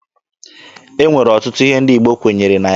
E nwere ọtụtụ ihe ndị Igbo kwenyere na ya.